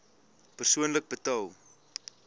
persoonlik betaal